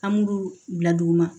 An b'ulu bila dugu ma